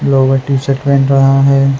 Yoga teacher बन रहा है।